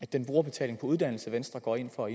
den brugerbetaling på uddannelse venstre går ind for